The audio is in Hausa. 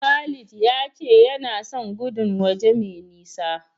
Khalil ya ce yana son gudun waje mai nisa.